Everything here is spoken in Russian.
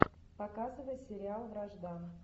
показывай сериал вражда